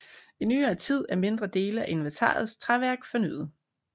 I nyere tid er mindre dele af inventarets træværk fornyet